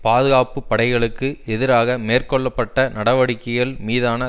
பாதுகாப்பு படைகளுக்கு எதிராக மேற்கொள்ள பட்ட நடவடிக்கைகள் மீதான